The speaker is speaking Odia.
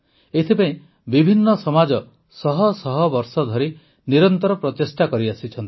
ଏଥିପାଇଁ ବିଭିନ୍ନ ସମାଜ ଶହ ଶହ ବର୍ଷ ଧରି ନିରନ୍ତର ପ୍ରଚେଷ୍ଟା କରିଆସିଛନ୍ତି